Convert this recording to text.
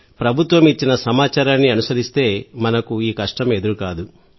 ప్రభుత్వం ఇచ్చిన సమాచారాన్ని అనుసరిస్తే మనకు ఈ కష్టం ఎదురుకాదు